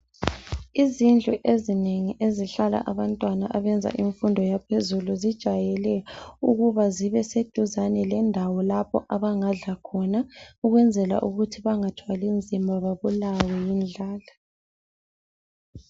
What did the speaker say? Izindlu ezinengi ezihlala abantwana abenza imfundo yaphezulu zijwayele ukuba zibeseduzane lendawo lapho abangadla khona ukwenzela ukuthi bangathwalinzima babulawe yindlala.